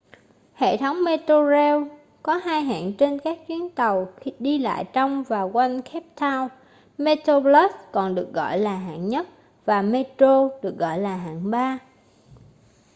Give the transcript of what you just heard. hệ thống metrorail có hai hạng trên các chuyến tàu đi lại trong và quanh cape town: metroplus còn được gọi lại hạng nhất và metro được gọi là hạng ba